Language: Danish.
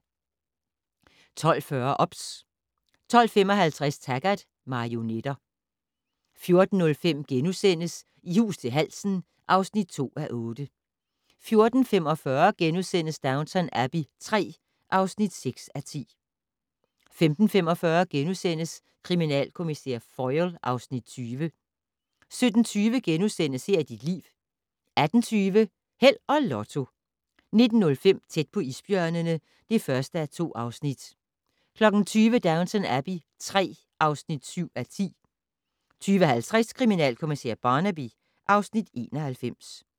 12:40: OBS 12:55: Taggart: Marionetter 14:05: I hus til halsen (2:8)* 14:45: Downton Abbey III (6:10)* 15:45: Kriminalkommissær Foyle (Afs. 20)* 17:20: Her er dit liv * 18:20: Held og Lotto 19:05: Tæt på isbjørnene (1:2) 20:00: Downton Abbey III (7:10) 20:50: Kriminalkommissær Barnaby (Afs. 91)